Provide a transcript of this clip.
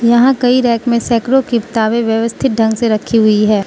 यहां कई रैक में सैकड़ों किताबें व्यवस्थित ढंग से रखी हुई है।